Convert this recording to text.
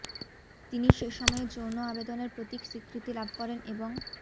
তিনি সে সময়ে যৌন আবেদনের প্রতীক স্বীকৃতি লাভ করেন এবং